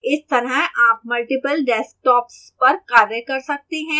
इस तरह आप multiple desktops पर कार्य कर सकते हैं